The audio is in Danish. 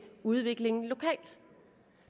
udviklingen lokalt